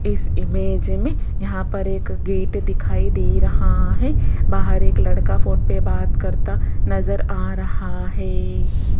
इस इमेज में यहां पर एक गेट दिखाई दे रहा है बाहर एक लड़का फोन पे बात करता नजर आ रहा है।